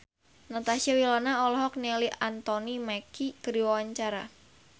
Natasha Wilona olohok ningali Anthony Mackie keur diwawancara